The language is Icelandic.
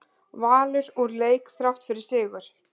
Valur úr leik þrátt fyrir sigur